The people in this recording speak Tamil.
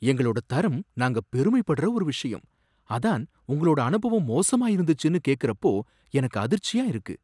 எங்களோட தரம் நாங்க பெருமைப்படுற ஒரு விஷயம், அதான் உங்களோட அனுபவம் மோசமா இருந்துச்சுன்னு கேக்குறப்போ எனக்கு அதிர்ச்சியா இருக்கு.